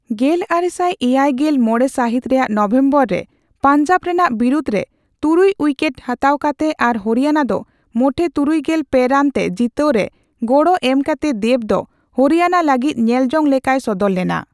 ᱜᱮᱞᱟᱨᱮᱥᱟᱭ ᱮᱭᱟᱭᱜᱮᱞ ᱢᱚᱲᱮ ᱥᱟᱹᱦᱤᱛ ᱨᱮᱭᱟᱜ ᱱᱚᱵᱮᱢᱵᱚᱨ ᱨᱮ ᱯᱟᱱᱡᱟᱵ ᱨᱮᱱᱟᱜ ᱵᱤᱨᱩᱫᱽ ᱨᱮ ᱛᱩᱨᱩᱭ ᱩᱭᱠᱮᱴ ᱦᱟᱛᱟᱣ ᱠᱟᱛᱮ ᱟᱨ ᱦᱚᱨᱤᱭᱟᱱᱟ ᱫᱚ ᱢᱚᱴᱷᱮ ᱛᱩᱨᱩᱭᱜᱮᱞ ᱯᱮ ᱨᱟᱱ ᱛᱮ ᱡᱤᱛᱟᱹᱣ ᱨᱮ ᱜᱚᱲᱚ ᱮᱢᱠᱟᱛᱮ ᱫᱮᱵ ᱫᱚ ᱦᱚᱨᱤᱭᱟᱱᱟ ᱞᱟᱹᱜᱤᱫ ᱧᱮᱞᱡᱚᱝ ᱞᱮᱠᱟᱭ ᱥᱚᱫᱚᱨ ᱞᱮᱱᱟ ᱾